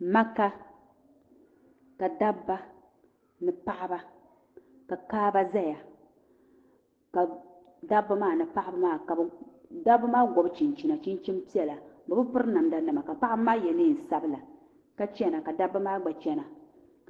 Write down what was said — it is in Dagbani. maka Ka dab ba ni paɣaba ka kaaba ʒɛya dabi maa ni paɣa maa dab bi maa gobi chinchin chinchin piɛla bɛ bi piri namda nima namda nima ka paɣi maa ye nee piɛla bɛ bi piri namda nima ka paɣa maa ye nee sabila